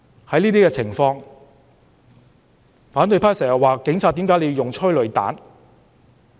對於這些情況，反對派經常問警方為何要用催淚彈。